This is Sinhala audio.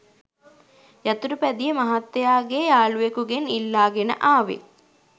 යතුරුපැදිය මහත්තයාගේ යාළුවකුගෙන් ඉල්ලාගෙන ආවේ.